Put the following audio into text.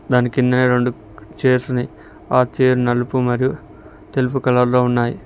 దానికిందనే రెండు చైర్స్ ఉన్నాయి ఆ చైర్ నలుపు మరియు తెలుపు కలర్ లో ఉన్నాయి.